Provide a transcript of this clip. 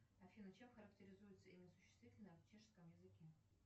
афина чем характеризуется имя существительное в чешском языке